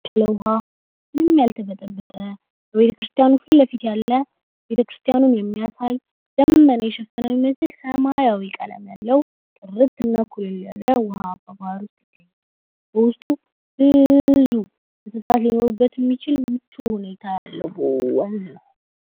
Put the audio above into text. ስለ ውሃ ምንም ያልተጠብጠ ቤተክርስቲያን ፊት ለፊት ያለ ቤተ ክርስቲያኑን የሚያሳይ ልመና የሸፈነው ይመስል ሰማያዊ ቀለም ያለው ጥርትና ኩልል ያለ ውሃ ባህር ነው። በውስጡ ብዙ እንሳት የሆኑበት ምቹ ሁኔታ ወንዝ ነው።